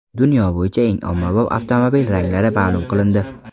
Dunyo bo‘yicha eng ommabop avtomobil ranglari ma’lum qilindi.